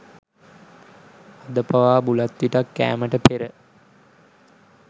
අද පවා බුලත් විටක් කෑමට පෙර